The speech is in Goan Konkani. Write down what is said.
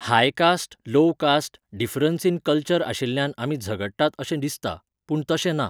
High caste low caste, difference in culture आशिल्ल्यान आमी झगडटात अशें दिसता. पूण तशें ना.